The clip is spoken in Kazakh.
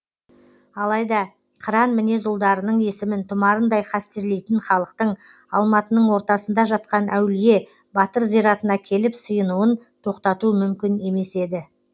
алайда қыран мінез ұлдарының есімін тұмарындай қастерлейтін халықтың алматының ортасында жатқан әулие батыр зиратына келіп сыйынуын тоқтату мүмкін емес еді